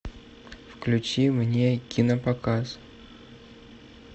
включи мне кинопоказ